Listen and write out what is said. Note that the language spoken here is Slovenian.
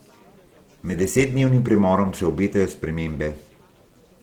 Med desetdnevnim premorom se obetajo spremembe.